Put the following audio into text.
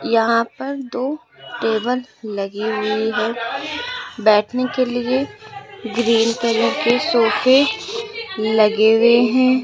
यहां पर दो टेबल लगी हुए हैं बैठने के लिए ग्रीन कलर के सोफे लगे हुए हैं।